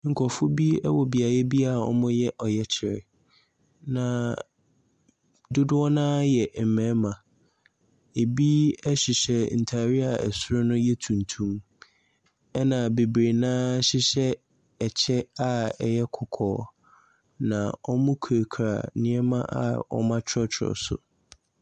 Nkurɔfoɔ bi wɔ beaeɛ bi a wɔreyɛ ɔyɛkyerɛ, na dodo no ara yɛ mmarima. Ɛbi hyehyɛ ntadeɛ a soro no yɛ tuntum, ɛnna bebree no ara hyehyɛ ɛkyɛ a ɛyɛ kɔkɔɔ, na wɔkurakura nneɛma a wɔatwerɛtwerɛ so.